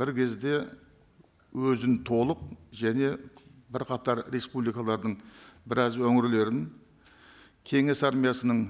бір кезде өзін толық және бірқатар республикалардың біраз өңірлерін кеңес армиясының